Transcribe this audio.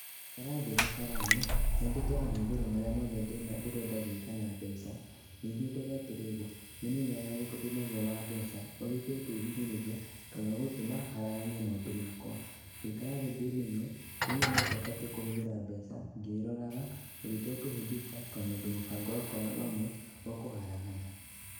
Ngũikara thĩ na karamu, nyandĩke mahũthĩro marĩa mothe ndĩrenda gwĩka na mbeca, ningĩ ndore atĩrĩrĩ, nĩ mũigana ũrĩkũ ndĩnaguo wa mbeca, ũrĩa itekwĩhinyĩrĩria, kana ũgũtũma haraganie maũndũ makwa. Ngũikara thĩ ndĩmenye, menye nĩ atĩa batiĩ kũhũthĩra mbeca, ngĩroraga, ũndũ itekũhĩngĩka kana ũndũ mũbango wakwa o na ũmwe, ũkũharagana.